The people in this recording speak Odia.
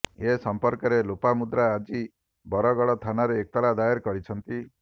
ଏ ସମ୍ପର୍କରେ ଲୋପାମୁଦ୍ରା ଆଜି ବଡଗଡ ଥାନାରେ ଏତଲା ଦାଏର କରିଛନ୍ତି